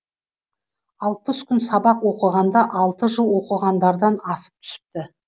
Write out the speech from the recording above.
алпыс күн сабақ оқығанда алты жыл оқығандардан асып түсіпті